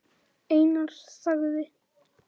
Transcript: Einar þagði.